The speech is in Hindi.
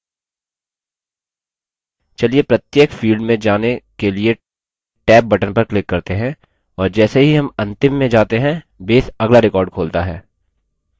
चलिए प्रत्येक field में जाने के लिए tab बटन पर click करते हैं और जैसे ही हम अंतिम में जाते हैं base अगला record खोलता है